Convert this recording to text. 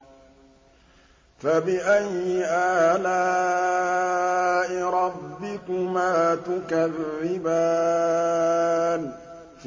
فَبِأَيِّ آلَاءِ رَبِّكُمَا تُكَذِّبَانِ